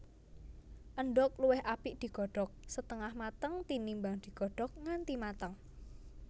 Endhog luwih apik digodhog setengah mateng tinimbang digodhog nganti mateng